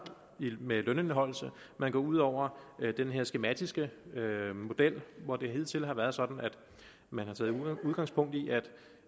med lønindeholdelse og man går ud over den her skematiske model hvor det hidtil har været sådan at man har taget udgangspunkt i at